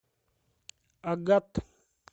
агат